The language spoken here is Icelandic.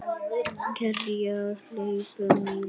Kergja hleypur í mig.